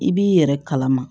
I b'i yɛrɛ kalama